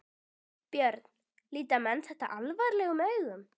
Björn: Líta menn þetta alvarlegum augum?